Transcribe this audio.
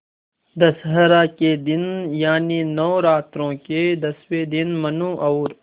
दशहरा के दिन यानि नौरात्रों के दसवें दिन मनु और